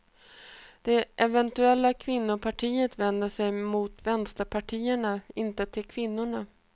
Det eventuella kvinnopartiet vänder sig mot vänsterpartierna, inte till kvinnorna.